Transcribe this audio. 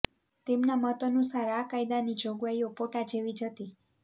તેમના મત અનુસાર આ કાયદાની જોગવાઈઓ પોટા જેવી જ હતી